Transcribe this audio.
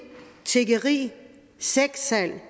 tiggeri sexsalg